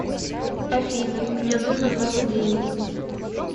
афина мне нужно много денег